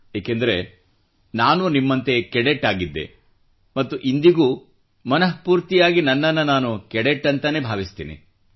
ಏಕೆಂದರೆ ನಾನೂ ನಿಮ್ಮಂತೆ ಕೆಡೆಟ್ ಆಗಿದ್ದೆ ಮತ್ತು ಇಂದಿಗೂ ಮನಃ ಪೂರ್ತಿಯಾಗಿ ನನ್ನನ್ನು ನಾನು ಕೆಡೆಟ್ ಎಂದು ಭಾವಿಸುತ್ತೇನೆ